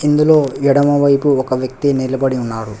ఇందులో ఎడమవైపు ఒక వ్యక్తి నిలబడి ఉన్నాడు.